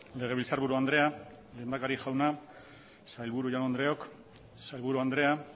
legebiltzarburu andrea lehendakari jauna sailburu jaun andreok sailburu andrea